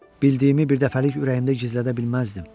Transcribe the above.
Bildiyimi birdəfəlik ürəyimdə gizlədə bilməzdim.